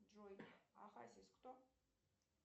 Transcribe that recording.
джой а хасис кто